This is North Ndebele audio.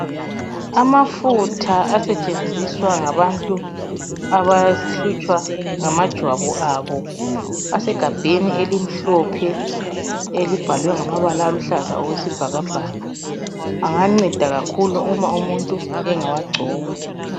Amafutha asetshenziswa ngabantu abahlutshwa ngamajwabu abo asegabheni elimhlophe elibhalwe ngamabala aluhlaza okwesibhakabhaka anganceda kakhulu uma umuntu engawagcoba.